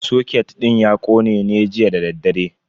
Soket din ya kone ne jiya dadaddare.